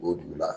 O dugu la